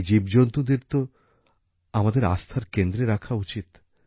এই জীবজন্তুদের তো আমাদের আস্থার কেন্দ্রে রাখা উচিত